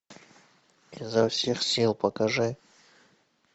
изо всех сил покажи